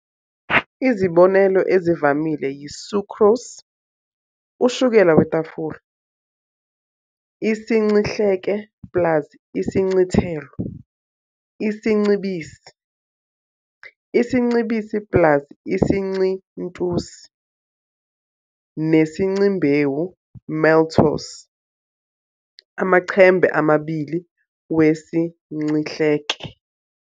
Izibonelo ezivamile yi-sucrose, ushukela wetafula, isincihleke plus isincithelo, isincibisi, isincibisi plus isincintusi, nesincimbewu, maltose, amachembe amabili wesincihleke.